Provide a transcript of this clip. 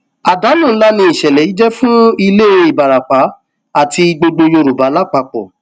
àdánù ńlá ni ìṣẹlẹ yìí jẹ fún ilé ìbarapá àti gbogbo yorùbá lápapọ